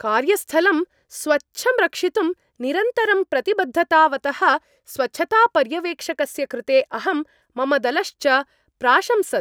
कार्यस्थलं स्वच्छं रक्षितुं निरन्तरं प्रतिबद्धतावतः स्वच्छतापर्यवेक्षकस्य कृते अहं, मम दलश्च प्राशंसत्।